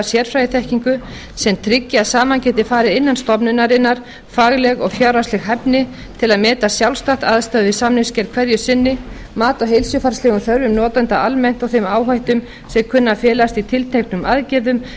sérfræðiþekkingu sem tryggi að saman geti farið innan stofnunarinnar fagleg og fjárhagsleg hæfni til að meta sjálfstætt aðstæður við samningsgerð hverju sinni mat á heilsufarslegum þörfum notenda almennt og þeim áhættum sem kunna að felast í tilteknum aðgerðum